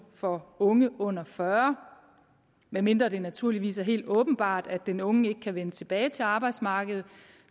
for unge under fyrre år medmindre det naturligvis er helt åbenbart at den unge ikke kan vende tilbage til arbejdsmarkedet